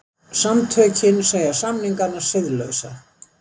Samtökin segja samningana siðlausa